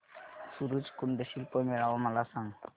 सूरज कुंड शिल्प मेळावा मला सांग